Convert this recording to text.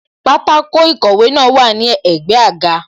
Pátákó ìkọ̀wé náà wà ní ẹ̀gbẹ́ àga